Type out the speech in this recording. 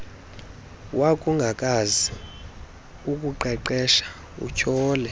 wakungakwazi ukuqeqesha utyhole